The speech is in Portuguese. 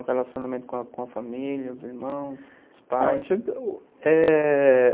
O relacionamento com a família, os irmãos, os pais? É...